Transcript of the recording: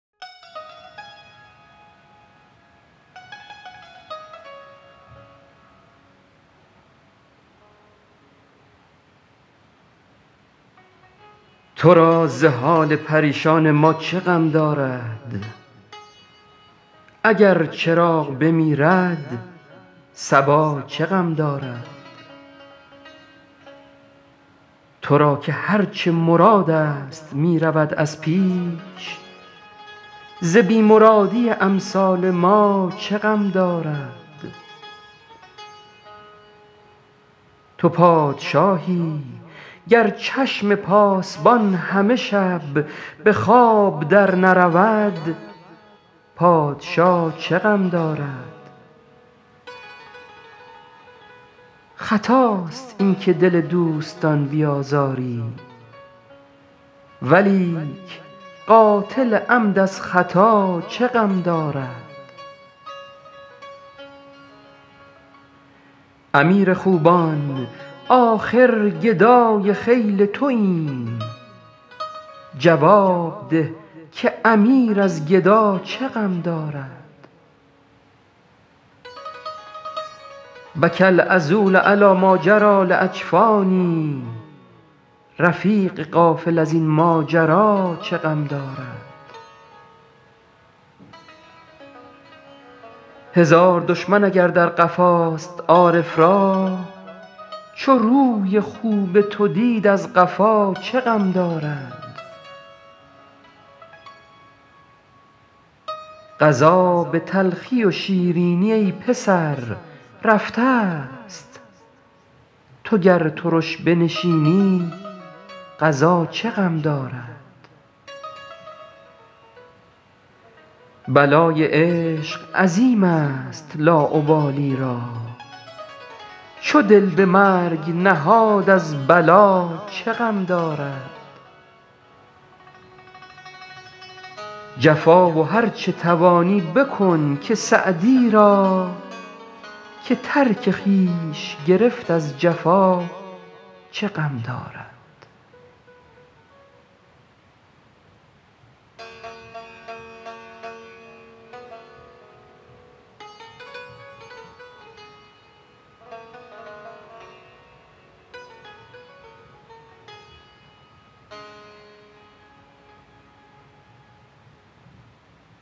تو را ز حال پریشان ما چه غم دارد اگر چراغ بمیرد صبا چه غم دارد تو را که هر چه مرادست می رود از پیش ز بی مرادی امثال ما چه غم دارد تو پادشاهی گر چشم پاسبان همه شب به خواب درنرود پادشا چه غم دارد خطاست این که دل دوستان بیازاری ولیک قاتل عمد از خطا چه غم دارد امیر خوبان آخر گدای خیل توایم جواب ده که امیر از گدا چه غم دارد بکی العذول علی ماجری لاجفانی رفیق غافل از این ماجرا چه غم دارد هزار دشمن اگر در قفاست عارف را چو روی خوب تو دید از قفا چه غم دارد قضا به تلخی و شیرینی ای پسر رفتست تو گر ترش بنشینی قضا چه غم دارد بلای عشق عظیمست لاابالی را چو دل به مرگ نهاد از بلا چه غم دارد جفا و هر چه توانی بکن که سعدی را که ترک خویش گرفت از جفا چه غم دارد